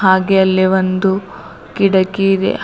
ಹಾಗೆ ಅಲ್ಲಿ ಒಂದು ಕಿಟಕಿ ಇದೆ.